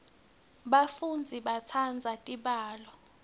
bafundzi batsandza tibalo